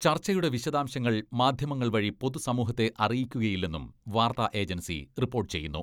ചർച്ചയുടെ വിശദാംശങ്ങൾ മാധ്യമങ്ങൾ വഴി പൊതുസമൂഹത്തെ അറിയിക്കുകയില്ലെന്നും വാർത്താ ഏജൻസി റിപ്പോട്ട് ചെയ്യുന്നു.